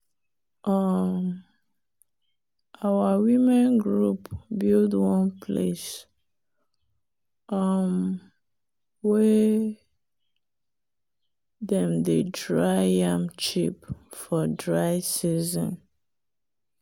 um our women group build one place um wey dem dey dry yam chip for dry season.